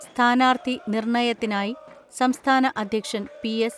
സ്ഥാനാർത്ഥി നിർണയത്തിനായി സംസ്ഥാന അധ്യക്ഷൻ പി.എസ്.